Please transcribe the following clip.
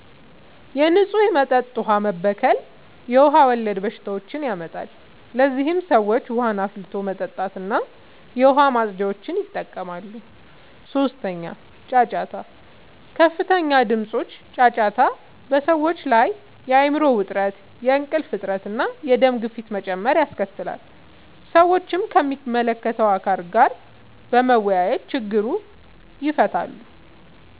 የንጹህ መጠጥ ውሃ መበከል የውሃ ወለድ በሽታዎችን ያመጣል። ለዚህም ሰዎች ውሃን አፍልቶ መጠጣትና የዉሃ ማፅጃን ይጠቀማሉ። 3. ጫጫታ፦ ከፍተኛ ድምጾች (ጫጫታ) በሰዎች ላይ የአይምሮ ዉጥረት፣ የእንቅልፍ እጥረት፣ እና የደም ግፊት መጨመር ያስከትላል። ሰዎችም ከሚመለከተዉ አካል ጋር በመወያየት ችግሩን ይፈታሉ።